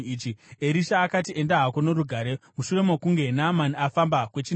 Erisha akati, “Enda hako norugare.” Mushure mokunge Naamani afamba kwechinhambo,